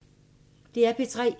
DR P3